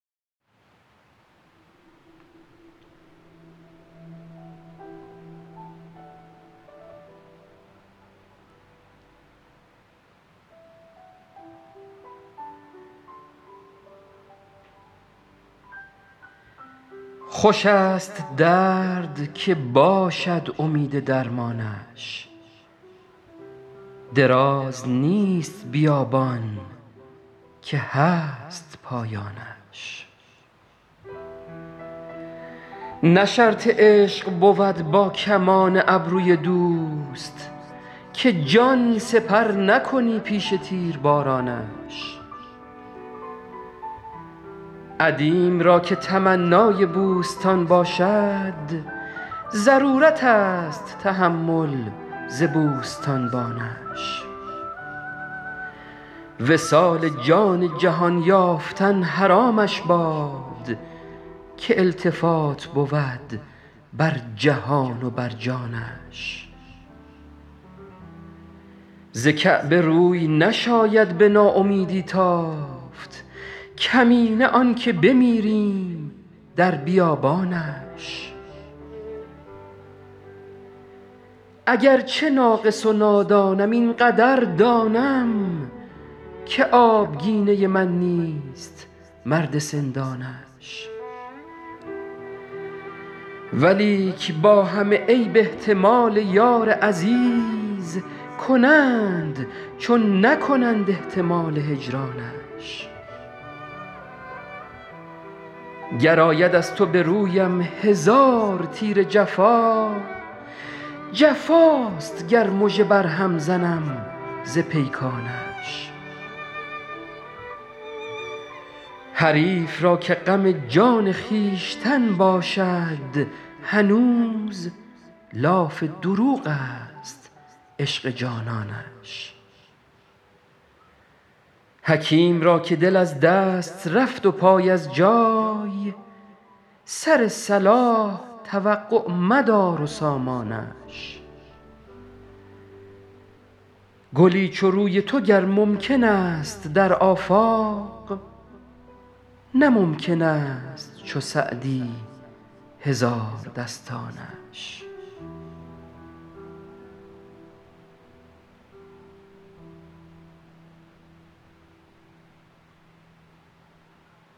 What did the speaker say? خوش است درد که باشد امید درمانش دراز نیست بیابان که هست پایانش نه شرط عشق بود با کمان ابروی دوست که جان سپر نکنی پیش تیربارانش عدیم را که تمنای بوستان باشد ضرورت است تحمل ز بوستانبانش وصال جان جهان یافتن حرامش باد که التفات بود بر جهان و بر جانش ز کعبه روی نشاید به ناامیدی تافت کمینه آن که بمیریم در بیابانش اگر چه ناقص و نادانم این قدر دانم که آبگینه من نیست مرد سندانش ولیک با همه عیب احتمال یار عزیز کنند چون نکنند احتمال هجرانش گر آید از تو به رویم هزار تیر جفا جفاست گر مژه بر هم زنم ز پیکانش حریف را که غم جان خویشتن باشد هنوز لاف دروغ است عشق جانانش حکیم را که دل از دست رفت و پای از جای سر صلاح توقع مدار و سامانش گلی چو روی تو گر ممکن است در آفاق نه ممکن است چو سعدی هزاردستانش